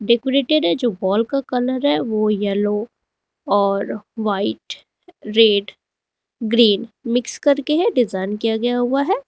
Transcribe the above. Decorated है जो wall का कलर है वो येलो और व्हाइट रेड ग्रीन मिक्स करके है डिजाइन किया गया हुआ है।